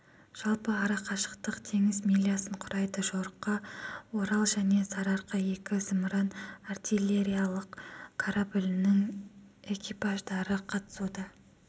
жалпы ара қашықтық теңіз милясын құрайды жорыққа орал және сарырқа екі зымыран-артиллериялық кораблінің экипаждары қатысуда